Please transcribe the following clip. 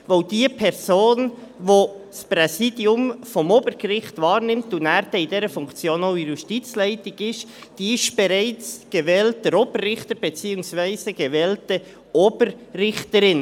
Diejenige Person, die das Präsidium des Obergerichts übernimmt und dann in dieser Funktion auch der Justizleitung angehört, ist bereits gewählter Oberrichter beziehungsweise gewählte Oberrichterin.